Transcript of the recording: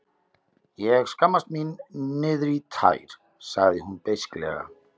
Ég skammast mín niðrí tær, sagði hún beisklega.